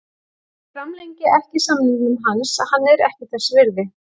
Ég framlengi ekki samningnum hans, hann er ekki þess virði.